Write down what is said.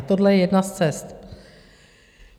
A tohle je jedna z cest.